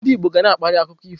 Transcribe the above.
Ndị Igbo ga na-akparị akụkọ ifo.